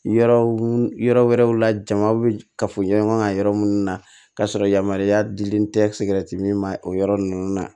Yɔrɔ yɔrɔ wɛrɛw la jamaw bɛ kafoɲɔgɔnya kan yɔrɔ minnu na k'a sɔrɔ yamaruya dilen tɛ min ma o yɔrɔ ninnu na